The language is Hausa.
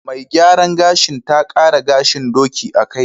Mai gyaran gashina ta ƙara gahin ɗoki a kaina.